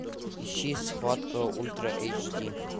ищи схватка ультра эйч ди